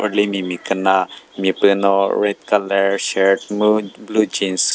rülimi miküna mi pü no red colour shirt mu blue jeans .